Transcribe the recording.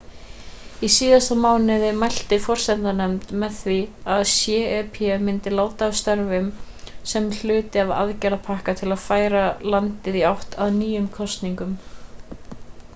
í síðasta mánuði mælti forsetanefnd með því að cep myndi láta af störfum sem hluti af aðgerðarpakka til að færa landið í átt að nýjum kosningum